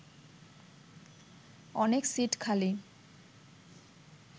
অনেক সিট খালি